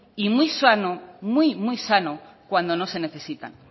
y muy sano cuando no se necesitan